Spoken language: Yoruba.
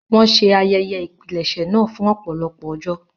Wọn ṣe ayẹyẹ ìpilẹ̀ṣẹ̀ naa fun ọpọlọpọ ọjọ